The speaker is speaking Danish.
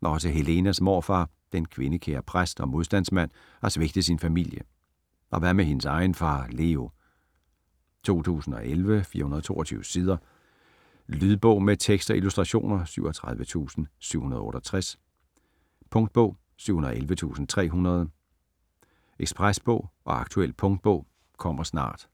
Også Helenas morfar, den kvindekære præst og modstandsmand, har svigtet sin familie, og hvad med hendes egen far Leo? 2011, 422 sider. Lydbog med tekst og illustrationer 37768 Punktbog 711300 Ekspresbog og aktuel punktbog - kommer snart